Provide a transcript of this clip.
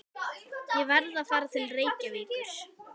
Ég verð að fara til Reykjavíkur!